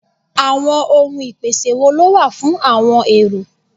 Àwọn ohun ìpèsè wo ló wà fún àọn èrò?